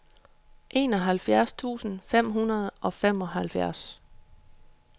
enoghalvfjerds tusind fem hundrede og femoghalvfjerds